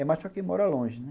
É mais para quem mora longe, né?